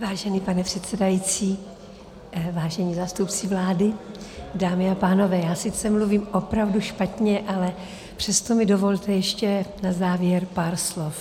Vážený pane předsedající, vážení zástupci vlády, dámy a pánové, já sice mluvím opravdu špatně , ale přesto mi dovolte ještě na závěr pár slov.